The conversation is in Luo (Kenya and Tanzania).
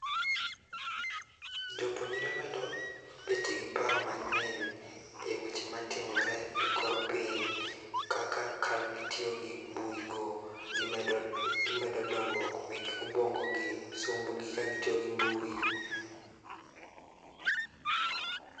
Jo puonjore medo bet gi paro ma ngeny e weche ma timore e kor piny kaka gi tiyo gi mbui go gi medo dongruok mag obuongo somb gi ka gi tiyo gi mbui